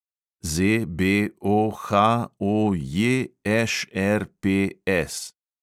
ZBOHOJŠRPS